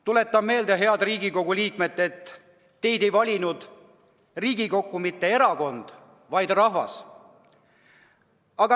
Tuletan meelde, head Riigikogu liikmed, et teid ei valinud Riigikokku mitte erakond, vaid rahvas.